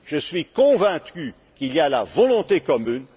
Je suis convaincu qu'il y a une volonté commune.